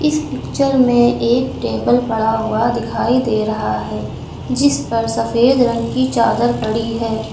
इस पिक्चर में एक टेबल पड़ा हुआ दिखाई दे रहा है जिस पर सफेद रंग की चादर पड़ी है।